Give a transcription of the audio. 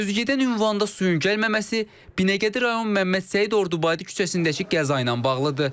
Sözügedən ünvanda suyun gəlməməsi Binəqədi rayon Məmmədsəid Ordubadi küçəsindəki qəza ilə bağlıdır.